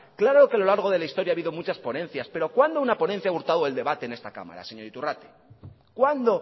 claro que a lo largo de la historia ha habido muchas ponencias pero cuándo una ponencia a hurtado el debate en esta cámara señor iturrate cuándo